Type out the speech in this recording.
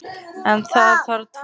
En það þarf tvo til.